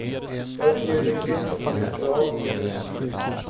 Jag har skrivit ett kapitel om den gustavianska tiden.